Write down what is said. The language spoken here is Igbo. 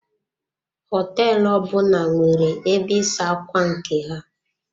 Hoteelu ọbụna nwere ebe ịsa ákwà nke ha.